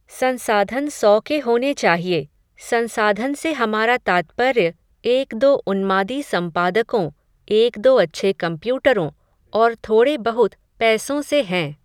संसाधन सौ के होने चाहिए, संसाधन से हमारा तात्पर्य एक दो उन्मादी संपादकों, एक दो अच्छे कम्प्यूटरों, और थोड़े बहुत पैसों से हैं